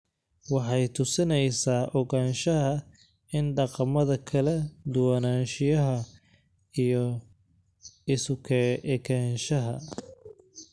Waxay tusinaysaa ogaanshaha in dhaqamada kala duwanaanshiyaha iyo isu ekaanshaha.